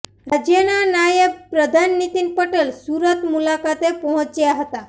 રાજ્યના નાયબ પ્રધાન નીતિન પટેલ સુરત મુલાકાતે પહોંચ્યા હતા